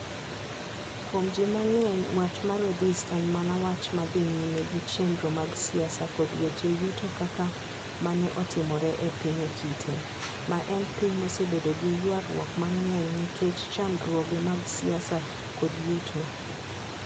Kuom ji mang'eny, wach marOdhis en mana wach ma dhi nyime gi chenro mag siasa kod weche yuto kaka ma ne otimore e piny Okite, ma en piny mosebedo gi ywaruok mang'eny nikech chandruoge mag siasa kod yuto.